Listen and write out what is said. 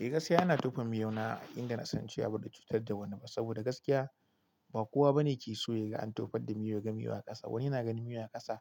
Eh, gaskiya ina tofa miyo na inda na san cewa ba zai cutar da wani ba. Saboda gaskiya ba kowa bane ke so yaga an tofar da miyo yaga miyo a ƙasa. Wani yana ganin miyo a ƙasa